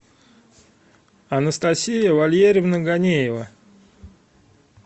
анастасия валерьевна ганеева